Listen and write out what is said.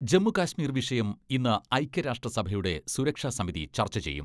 ജമ്മു കാശ്മീർ വിഷയം ഇന്ന് ഐക്യരാഷ്ട്ര സഭയുടെ സുരക്ഷാ സമിതി ചർച്ച ചെയ്യും.